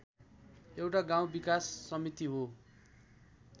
एउटा गाउँ विकास समिति हो